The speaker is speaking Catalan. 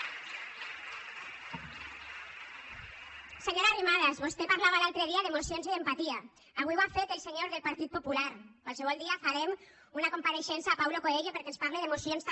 senyora arrimadas vostè parlava l’altre dia d’emocions i d’empatia avui ho ha fet el senyor del partit popular qualsevol dia farem una compareixença a paulo coelho perquè ens parle d’emocions també